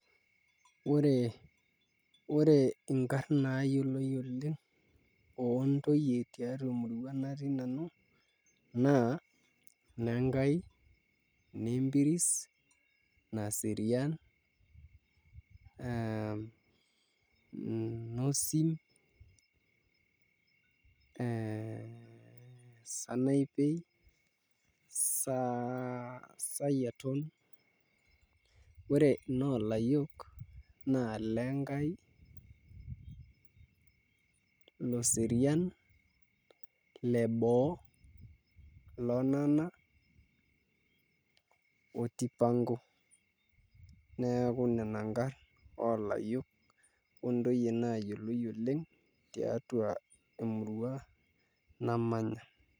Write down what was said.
Ore inkarn naayioloi oleng' oontoyie tiatua emurua natii nanu naa Nenkai, Nempiris, Naserian Nosim, Sanaipei, Sayiaton ore inoolayiok naa Lenkai, Loserian, Leboo, Lonana oo Tipanko neeku nena nkarn oolayiok ontoyie naayioloi oleng' tiatua emurua namanya.